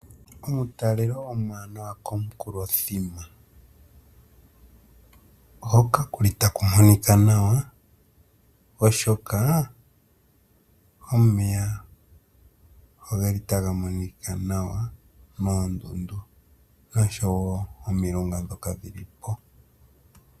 Omutalelo omwaanawa komukulo thima, hoka kuli taku monika nawa oshoka omeya ogeli taga monika nawa moondudu nosho woo omilunga dhoka dhi lipo.